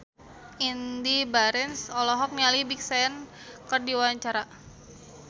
Indy Barens olohok ningali Big Sean keur diwawancara